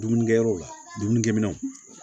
Dumunikɛyɔrɔw la dumunikɛminɛw